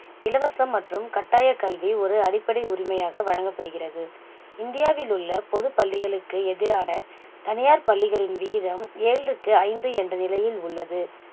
இலவசம் மற்றும் கட்டாய கல்வி ஒரு அடிப்படை உரிமையாக வழங்கப்படுகிறது இந்தியாவிலுள்ள பொதுப்பள்ளிகளுக்கு எதிரான தனியார் பள்ளிகளின் விகிதம் ஏழுக்கு ஐந்து என்ற நிலையில் உள்ளது